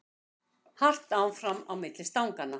Hart áfram á milli stanganna